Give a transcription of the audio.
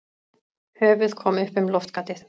Höfuð kom upp um loftgatið.